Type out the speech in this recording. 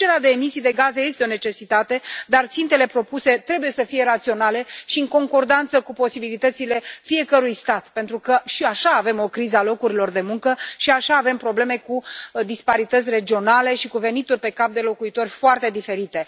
Reducerea de emisii de gaze este o necesitate, dar țintele propuse trebuie să fie raționale și în concordanță cu posibilitățile fiecărui stat, pentru că și așa avem o criză a locurilor de muncă, și așa avem probleme cu disparități regionale și cu venituri pe cap de locuitor foarte diferite.